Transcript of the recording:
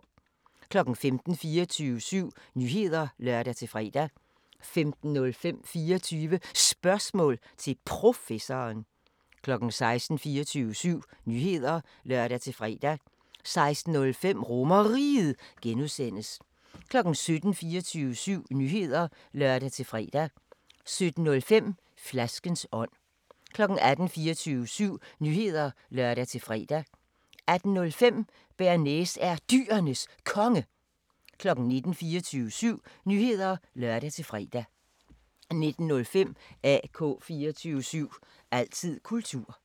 15:00: 24syv Nyheder (lør-fre) 15:05: 24 Spørgsmål til Professoren 16:00: 24syv Nyheder (lør-fre) 16:05: RomerRiget (G) 17:00: 24syv Nyheder (lør-fre) 17:05: Flaskens ånd 18:00: 24syv Nyheder (lør-fre) 18:05: Bearnaise er Dyrenes Konge 19:00: 24syv Nyheder (lør-fre) 19:05: AK 24syv – altid kultur